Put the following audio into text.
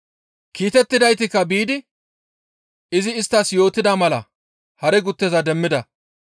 Kiitettidaytikka biidi izi isttas yootida mala hare gutteza demmida.